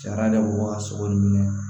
Sariya de b'o waga sogo nin minɛ